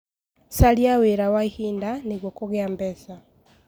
Caria wĩra wa ihinda nĩguo kũgĩa mbeca.